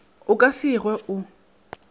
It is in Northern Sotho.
a ka se hwe o